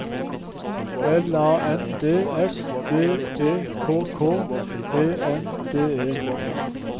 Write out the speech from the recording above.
L A N D S D E K K E N D E